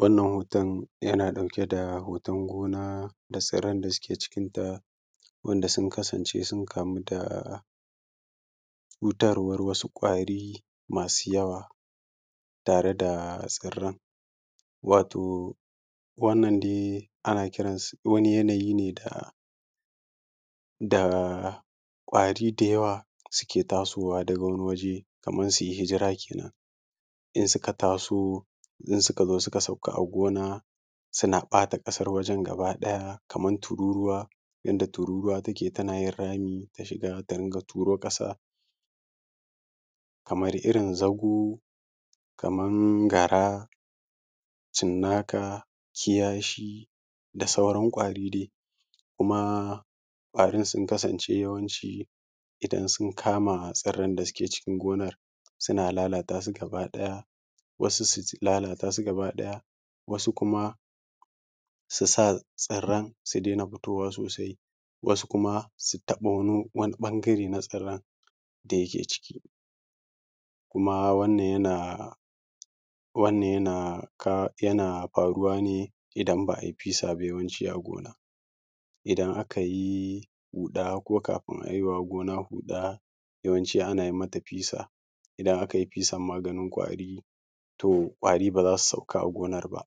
Wannan hoton yana ɗauke da hoton gona da tsirran da suke cikinta, wanda sun kasance sun kamu da cutarwan wasu ƙwari masu yawa tare da tsirran. Wato wannan dai ana kiransa, wani yanayi ne da ƙwari da yawa suke tasowa daga wani waje kamar su yi hijira kenan. In suka taso suka sauka a gona suna ɓata ƙasan wajan gaba ɗaya kamar tururuwa, yanda tururuwa take tana yin rami ta shiga ta ringa turo ƙasa, kamar irin zago, kamar gara, cinnaka, kiyashi, da sauran ƙwari dai. Kuma ƙwari sun kasance yawanci idan dai su kama tsirran da suke cikin gonar suna lalatasu gaba ɗaya, wasu su lalata su gaba ɗaya, wasu kuma su sa tsiran su daina fitowa sosai, wasu kuma su taɓo wani ɓangare na tsirran da yake ciki. Kuma wannan yana faruwa ne idan ba a yi fesa ba yawanci a gona. Idan aka yi huɗa ko kafi a yi wa gona huɗa yawanci ana yi mata fesa. Ida aka yi fesa maganin ƙwari, to ƙwari ba za su sauka a gonan ba,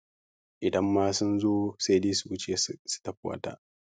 idan ma sun zo sai dai su wuce su tafi wata.